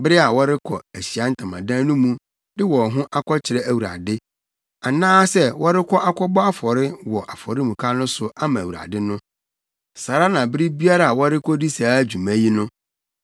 bere a wɔrekɔ Ahyiae Ntamadan no mu de wɔn ho akɔkyerɛ Awurade, anaasɛ wɔrekɔ akɔbɔ afɔre wɔ afɔremuka no so ama Awurade no. Saa ara na bere biara a wɔrekodi saa dwuma yi no,